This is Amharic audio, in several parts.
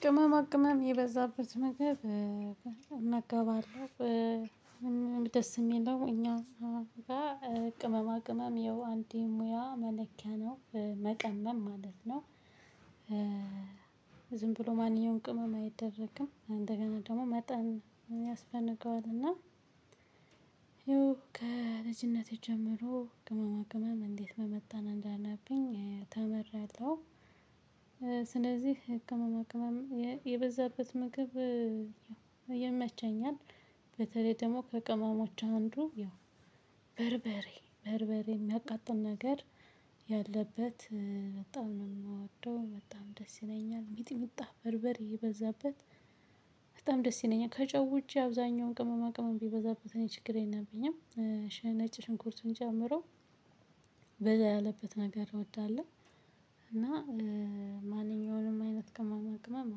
ቅመማ ቅመም የበዛበት መግብ እመገባለሁ ደስ የሚለው እኛ ጋር ቅመማ ቅመም ይኸው አንድ ሙያ መለኪያ ነው መቀመም ማለት ነው። ዝም ብሎ ማንኛውንም ቅመም አይደረግም እንደገና ደግሞ መጠን ያስፈልገዋል እና። ይሄው ከልጅነቴ ጀምሮ ቅመማ ቅመም እንዴት መመጠን እንዳለብኝ ተምሬአለሁ። ስለዚህ ቅመማ ቅመም የበዛበት ምግብ ያው ይመቸኛል አለ። በተለይ ደግሞ ከቅመሞች አንዱ ያው በርበሬ በርበሬ የሚያቃጥል ነገር ያለበት በጣም ነው የምወደው በጣም ደስ ይለኛል። ሚጥምጣ በርበሬ የበዛበት በጣም ደስ ይለኛል። ከጨውጄ አብዛኛውን ቅመማ ቅመም ቢበዛበት እኔ ችግሬ ነበኝም። ነጭ ሽንኩርትን ጨምሮ በዛ ያለበት ነገር እወዳለሁ። እና ማንኛውንም አይነት ቅመማ ቅመም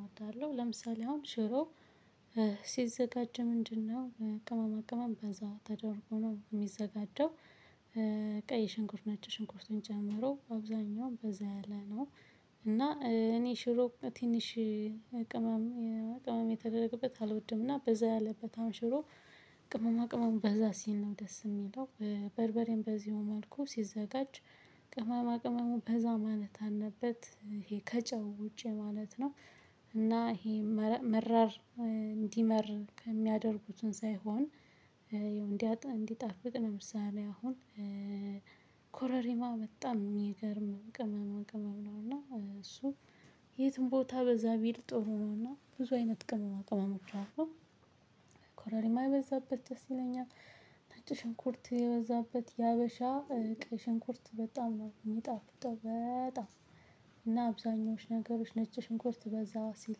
አወዳለሁ። ለምሳሌ አሁን ሽሮ ሲዘጋጅ ምንድነው ቅመማ ቅመም በዛ ተደርጎ ነው የሚዘጋጀው? ቀይ ሽንኩርት ነች ሽንኩርትን ጨምሮ አብዛኛውም በዛ ያለ ነው። እና እኔ ሽሮ ትንሽ ቅመም ቅመም የተደረገበት አልወድም እና በዛ ያለበት ሽሮ። ቅመማ ቅመም በዛ ሲል ነው ደስ የሚለው። በርበሬም በዚሁ መልኩ ሲዘጋጅ ቅመማ ቅመሙ በዛ ማለት አለበት ይሄ ከጨው ውጪ ማለት ነው። እና ይሄ መራር እንዲመር ከሚያደርጉትን ሳይሆን። እንዲጣፍጥ ነው ምሳሌ አሁን ኮረሪማ በጣም የሚገርም ቅመማ ቅመም ነው። እና እሱ የትም ቦታ በዛ ቢል ጥሩ ነው እና ብዙ አይነት ቅመማ ቅመሞች አሉ። የበዛበት ደስ ይለኛል። ነጭ ሽንኩርት የበዛበት የሀበሻ ቀይ ሽንኩርት በጣም ነው የሚጣፍጠው በጣም እና አብዛኞቹ ነገሮች ነጭ ሽንኩርት በዛ ሲል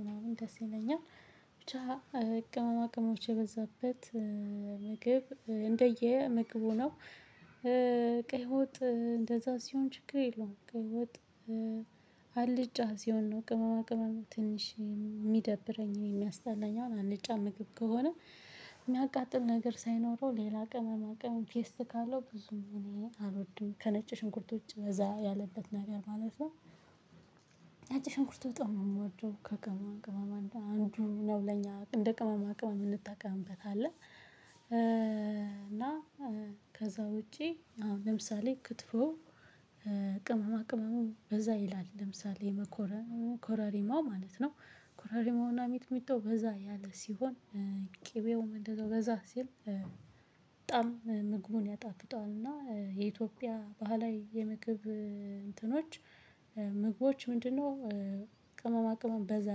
ምናምን ደስ ይለኛል። ብቻ ቅመማ ቅመሞች የበዛበት ምግብ እንደየ ምግቡ ነው። ቀይ ወጥ እንደዛ ሲሆን ችግር የለውም ቀይ ወጥ ሲሆን ነው ቅመማ ቅመም ትንሽ የሚደብረኝን የሚያስጠላኝ አሁን አልጫ ምግብ ከሆነ። የሚያቃጥል ነገር ሳይኖረው ሌላ ቀን ቅመማ ቅመም ቴስት ካለው ብዙም እኔ አልወድም ከነጭ ሽንኩርቶች ውጭ በዛ ያለበት ነገር ማለት ነው። ነጭ ሽንኩርት በጣም ነው የምወደው ከቅመማ ቅመማ አንዱ ነው ለኛ እንደ ቅመማ ቅመም እንጠቀምበታለን። እና ከዛ ውጪ አሁን ለምሳሌ ክትፎ ቅመማ ቅመሙን በዛ ይላል ለምሳሌ ኮራሪማ ማለት ነው ኮራሪማውና ሚጥሚጣው በዛ ያለ ሲሆን። እንደዛው በዛ ሲል በጣም ምግቡን ያጣፍጠዋልና የኢትዮጵያ ባህላዊ የምግብ እንትኖች ምግቦች ምንድነው ቅመማ ቅመም በዛ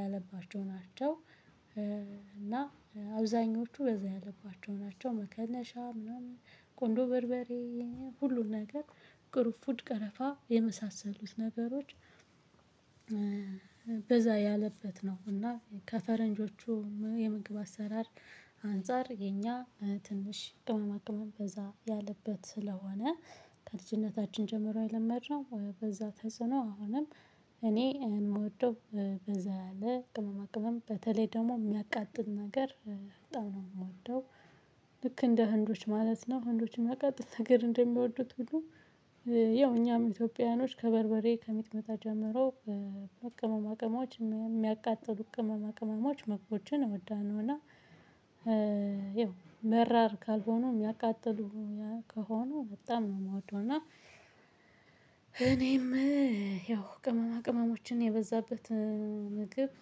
ያለባቸው ናቸው። እና አብዛኞቹ በዛ ያለባቸው ናቸው መከለሻ ምናምን ቆንዶ በርበሬ ሁሉን ነገር ቅሩንፍድ ቀረፋ የመሳሰሉት ነገሮች። በዛ ያለበት ነው እና ከፈረንጆቹ የምግብ አሰራር አንፃር የኛ ትንሽ ቅመማ ቅመም በዛ ያለበት ስለሆነ። ከልጅነታችን ጀምሮ የለመድነው በዛ ተጽዕኖ አሁንም እኔ የምወደው በዛ ያለ ቅመማ ቅመም በተለይ ደግሞ የሚያቃጥል ነገር በጣም ነው የምወደው። ልክ እንደ ህንዶች ማለት ነው ህንዶችም የሚያቃጥል ነገር እንደሚወዱት ሁሉ ያው እኛም ኢትዮጵያውያኖች ከበርበሬ ከሚጥሚጣ ጀምሮ ቅመማ ቅመሞች የሚያቃጥሉ ቅመማ ቅመሞች ምግቦችን እወዳለውና። ይኸው መራር ካልሆኑ የሚያቃጥሉ ከሆኑ በጣም ነው የምወደው እና። እኔም ያው ቅመማ ቅመሞችን የበዛበት ምግብ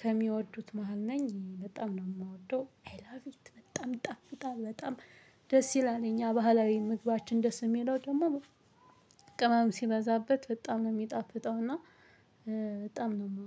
ከሚወዱት መሃል ነኝ በጣም ነው የምወደው። አይ ላቭ ኢት በጣም ይጣፍጣል በጣም ደስ ይላል። እኛ ባህላዊ ምግባችን ደስ የሚለው ደግሞ ቅመም ሲበዛበት በጣም የሚጣፍጠውና እና በጣም ነው የምወደው